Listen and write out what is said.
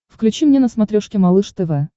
включи мне на смотрешке малыш тв